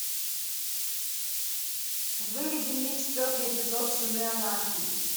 выведи мне четвертый эпизод сыны анархии